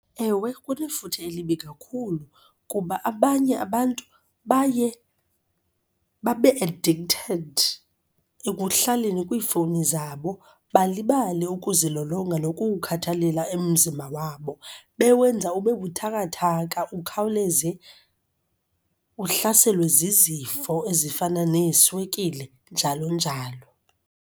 Ewe, kunefuthe elibi kakhulu kuba abanye abantu baye babe-addicted ekuhlaleni kwiifowuni zabo, balibale ukuzilolonga nokuwukhathalela umzimba wabo. Bewenza ube buthakathaka ukhawuleze uhlaselwe zizifo ezifana neeswekile, njalo njalo.